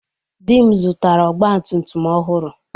Di m zụtara ọgba tum tum ọhụrụ.